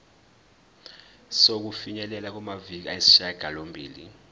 sokufinyelela kumaviki ayisishagalombili